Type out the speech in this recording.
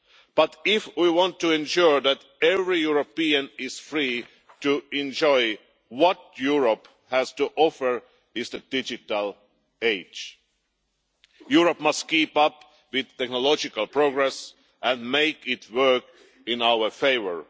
But if we want to ensure that every European is free to enjoy what Europe has to offer in the digital age, Europe must keep up with technological progress and make it work in our favour.